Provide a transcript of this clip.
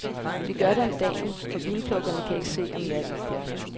Vi gør det om dagen, for vinplukkerne kan ikke se om natten.